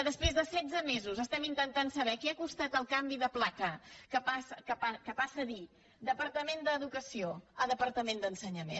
després de setze mesos que intentem saber què ha costat el canvi de placa que passa de dir departament d’educació a departament d’ensenyament